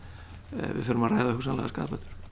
við förum að ræða hugsanlegar skaðabætur